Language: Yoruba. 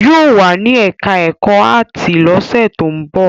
Yóò wà ní ẹ̀ká ẹ̀kọ́ áàtì lọ́sẹ̀ tó ń bọ̀